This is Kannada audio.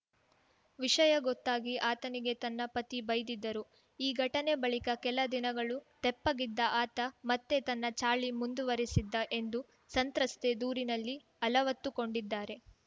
ವಿಷಯ ಗೊತ್ತಾಗಿ ಆತನಿಗೆ ನನ್ನ ಪತಿ ಬೈದಿದ್ದರು ಈ ಘಟನೆ ಬಳಿಕ ಕೆಲ ದಿನಗಳು ತೆಪ್ಪಗಿದ್ದ ಆತ ಮತ್ತೆ ತನ್ನ ಚಾಳಿ ಮುಂದುವರೆಸಿದ್ದ ಎಂದು ಸಂತ್ರಸ್ತೆ ದೂರಿನಲ್ಲಿ ಅಲವತ್ತುಕೊಂಡಿದ್ದಾರೆ